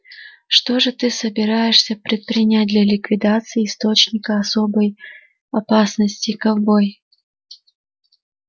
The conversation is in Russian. что же ты собираешься предпринять для ликвидации источника особой опасности ковбой